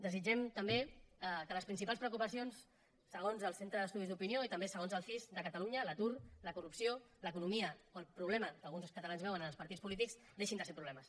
desitgem també que les principals preocupacions segons el centre d’estudis d’opinió i també segons el cis de catalunya l’atur la corrupció l’economia o el problema que alguns dels catalans veuen en els partits polítics deixin de ser problemes